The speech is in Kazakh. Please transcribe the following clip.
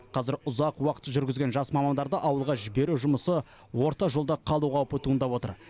қазір ұзақ уақыт жүргізген жас мамандарды ауылға жіберу жұмысы орта жолда қалу қаупі туындап отыр